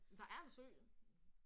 Der er en sø!